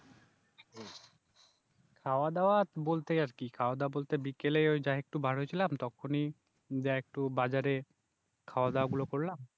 খাওয়া দাওয়া বলতে আর কি খাওয়া-দাওয়া বলতে বিকেলে ওই যা একটু বার হয়েছিলাম তখনই যা একটু বাজারে খাওয়া দাওয়া গুলো করলাম